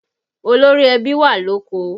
Olórí ẹbí wà lóko